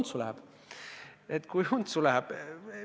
Aa, ahah, et kui untsu läheb.